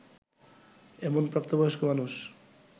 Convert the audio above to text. এমন প্রাপ্তবয়স্ক মানুষ